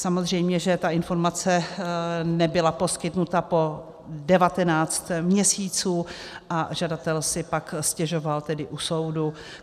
Samozřejmě že ta informace nebyla poskytnuta po 19 měsíců a žadatel si pak stěžoval tedy u soudu.